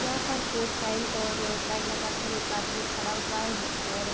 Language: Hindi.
यहाँ पर कोट पैंट और टाई लग कर एक आदमी खड़ा हुआ है और --